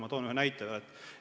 Ma toon ühe näite veel.